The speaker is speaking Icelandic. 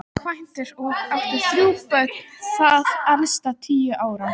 Kvæntur og átti þrjú börn, það elsta tíu ára.